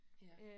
Ja